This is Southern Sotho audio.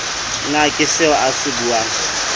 na ie seoa se unang